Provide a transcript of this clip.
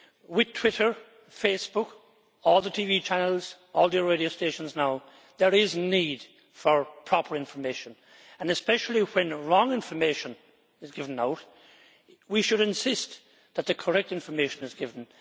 With Twitter, Facebook, all the TV channels and radio stations now, there is need for proper information and especially when wrong information is given out, we should insist that the correct information is given.